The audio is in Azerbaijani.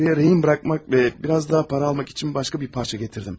Buraya girov qoymaq və bir az daha pul almaq üçün başqa bir parça gətirdim.